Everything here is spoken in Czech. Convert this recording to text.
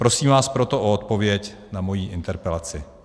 Prosím vás proto o odpověď na moji interpelaci.